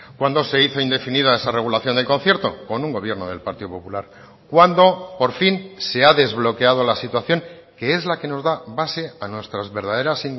cuándo se hizo indefinida esa regulación del concierto con un gobierno del partido popular cuándo por fin se ha desbloqueado la situación que es la que nos da base a nuestras verdaderas